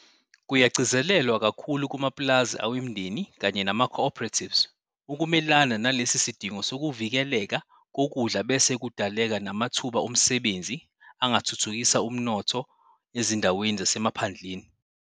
Kuyagcizelelwa kakhulu kumapulazi awemindeni kanye namaco-operatives ukumelana nalesi sidingo sokuvikeleka kokudla bese kudaleka namathuba omsebenzi angathuthukisa umnotho ezindaweni zasemaphandleni.